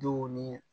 Denw ni